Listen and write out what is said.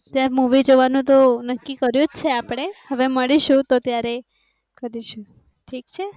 તે મૂવી જોવા નું તો નક્કી કર્યું છે. આપડે હવે મળીશું તો ત્યારે કરીશું ઠીક છે.